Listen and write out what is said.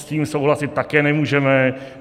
S tím souhlasit také nemůžeme.